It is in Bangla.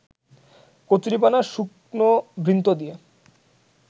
কচুরিপানার শুকনো বৃন্ত দিয়ে